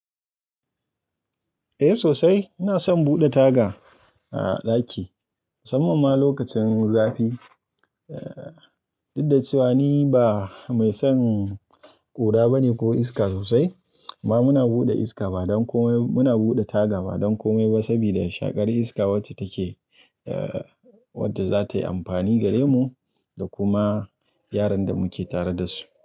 Eh sosai. Ina son buɗe taga a ɗaki musamman ma lokacin zafi. Dudda cewa ni ba mai son ƙura bane ko iska sosai, amma muna buɗe iska ba don komai. Muna buɗe taga ba don komai ba saboda shaƙar iska wacce take, wadda zatayi amfani gare mu da kuma yaran da muke tare da su.